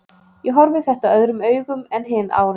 Ég horfi þetta öðrum augum en hin árin.